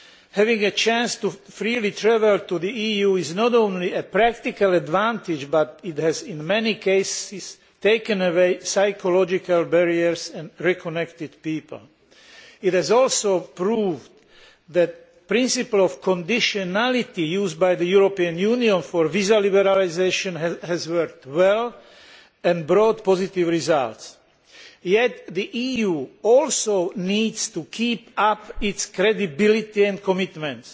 Having a chance to freely travel to the EU is not only a practical advantage, but it has also, in many cases, taken away psychological barriers and reconnected people. This has also proved that the principle of conditionality used by the European Union for visa liberalisation has worked well and brought positive results. Yet the EU also needs to keep up its credibility and commitment.